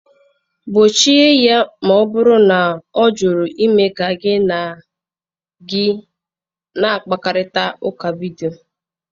Gbochie ya ma ọ bụrụ na ọ jụrụ ime ka gị na gị na-akparịta ụka vidio!